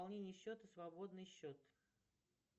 пополнение счета свободный счет